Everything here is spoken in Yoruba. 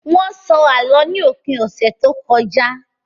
Wọ́n sọ Àlọ́ ní òpin ọ̀sẹ̀ tó kọjá